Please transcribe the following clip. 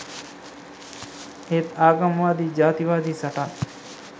එහෙත් ආගම වාදී ජාති වාදී සටන්